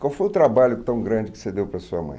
Qual foi o trabalho tão grande que você deu para a sua mãe?